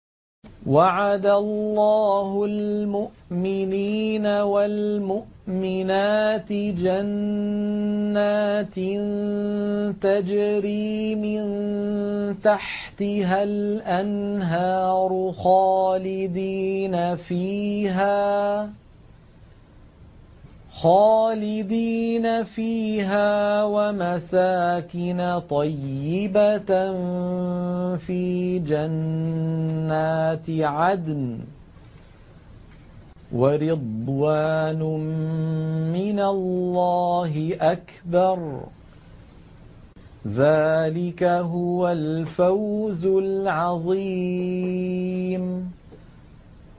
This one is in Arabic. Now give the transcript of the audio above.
وَعَدَ اللَّهُ الْمُؤْمِنِينَ وَالْمُؤْمِنَاتِ جَنَّاتٍ تَجْرِي مِن تَحْتِهَا الْأَنْهَارُ خَالِدِينَ فِيهَا وَمَسَاكِنَ طَيِّبَةً فِي جَنَّاتِ عَدْنٍ ۚ وَرِضْوَانٌ مِّنَ اللَّهِ أَكْبَرُ ۚ ذَٰلِكَ هُوَ الْفَوْزُ الْعَظِيمُ